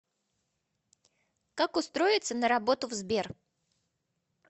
как устроиться на работу в сбер